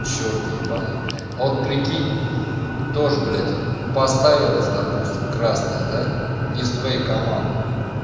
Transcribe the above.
чёрт ебанный вот прикинь тоже блядь поставилась допустим красное да не с твоей команды